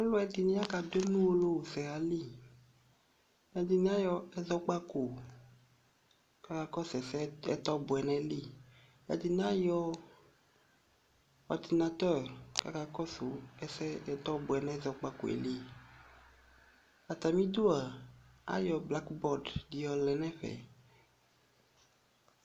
Aaluɛɖini akɛɖʋemu nʋ uwolowusɛɣaliƐɖini ayɔ ɛzɔkpako k'aka kɔsʋ ɛsɛ ɛtɔbuɛ n'ayili ɛɖini ayɔ ordinateur k'akaka kɔsʋ ɛsɛ ɛtɔ buɛ n'ɛzɔkpako yɛ liAatamiɖʋa ayɔ blacbɔd ɖi yɔlɛ nɛfɛ